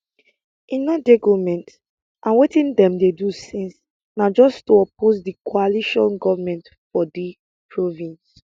e no dey goment and wetin dem dey do since na just to oppose di coalition goment for di province